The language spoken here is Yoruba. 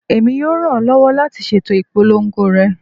Emi yoo ran ọ lọwọ lati ṣeto ipolongo rẹ